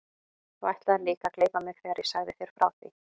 Þú ætlaðir líka að gleypa mig þegar ég sagði þér frá því.